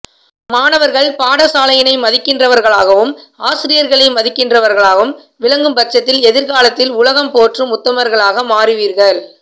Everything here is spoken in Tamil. மாணவர்கள் பாடசாலையினை மதிக்கின்றவர்களாகவும் ஆசிரியர்களை மதிக்கின்றவர்களாகவும் விளங்கும் பட்சத்தில் எதிர்காலத்தில் உலகம் போற்றும் உத்தமர்களாக மாறிவீர்கள்